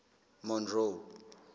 monroe